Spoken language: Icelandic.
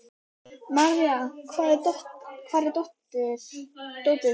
Marja, hvar er dótið mitt?